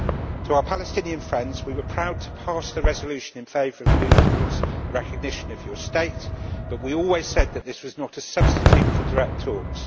To our Palestinian friends, we were proud to pass the resolution in favour of a move towards recognition of your state, but we always said that this was not a substitute for direct talks.